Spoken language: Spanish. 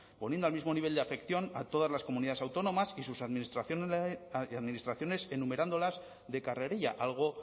poniendo al mismo nivel de afección a todas las comunidades autónomas y sus administraciones enumerándolas de carrerilla algo